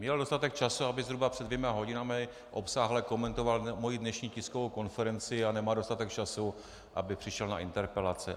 Měl dostatek času, aby zhruba před dvěma hodinami obsáhle komentoval moji dnešní tiskovou konferenci., a nemá dostatek času, aby přišel na interpelace.